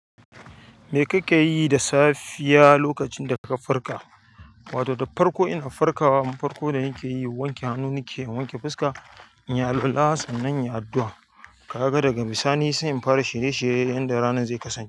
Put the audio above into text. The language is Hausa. Me kake yi da safiya lokacin da ka farka? Wato da farko ina farkawa, abin farko da nike yi wanke hannu nike wanke fuska, in yi alwala sannan yi addu'a. Kaga daga bisani sai in fara shirye shirye na yanda ranar zai kasance.